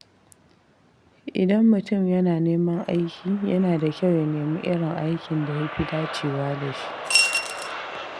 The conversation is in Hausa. Idan mutum yana neman aiki, yana da kyau ya nemi irin aikin da ya fi dacewa da shi.